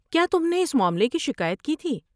کیا تم نے اس معاملے کی شکایت کی تھی؟